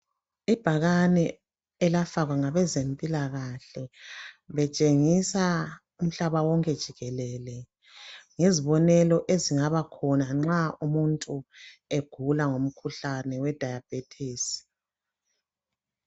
Ibhakane elafakwa ngabezempilakahle betshengisa umhlaba wonke jikelele ngezibonelo ezingaba khona nxa umuntu egula ngomkhuhlane we diabetis.